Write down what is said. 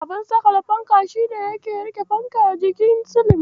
Abun saƙale fanka shi ne yake riƙe fanka a jikin silin.